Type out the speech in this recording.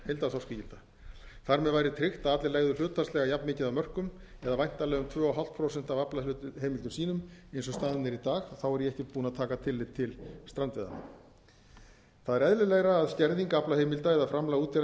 heildarþorskígilda þar með væri tryggt að allir legðu hlutfallslega jafnmikið af mörkum eða væntanlega um tvö og hálft prósent af aflaheimildum sínum eins og staðan er í dag er ég ekkert búinn að taka tillit til strandveiðanna það er eðlilegra að skerðing aflaheimilda eða framlag útgerðanna í